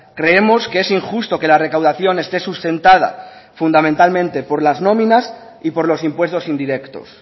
creemos que es injusto que la recaudación esté sustentada fundamentalmente por las nóminas y por los impuestos indirectos